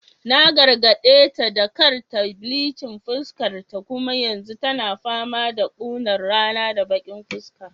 Na gargadeta da kar ta bleaching fatarta kuma yanzu tana fama da kunar rana da baki fuska